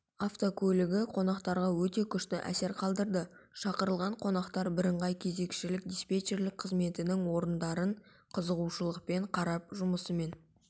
автокөлігі қонақтарға өте күшті әсер қалдырды шақырылған қонақтар бірыңғай кезекшілік-диспечерлік қызметінің орындарын қызығушылықпен қарап жұмысымен